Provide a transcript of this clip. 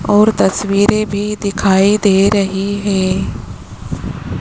और तस्वीरे भी दिखाई दे रही है।